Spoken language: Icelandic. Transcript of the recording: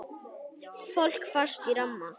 Fólk fast í ramma?